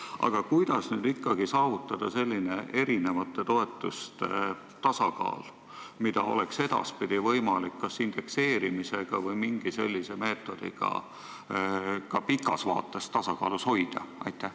Aga kuidas ikkagi saavutada eri toetuste tasakaal, mida oleks edaspidi võimalik kas indekseerimisega või mingi sellise meetodiga ka pikas vaates hoida?